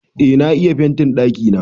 Eh na yi fentin ɗakina.